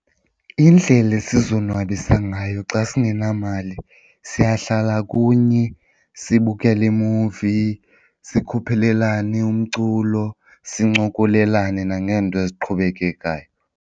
Iindlela esizonwabisa ngayo xa singenamali siyahlala kunye sibukele iimuvi, sikhuphelelane umculo, sincokolelane nangeento eziqhubekekayo.